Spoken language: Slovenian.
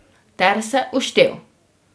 Ter se uštel.